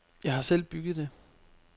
Jeg har selv bygget det.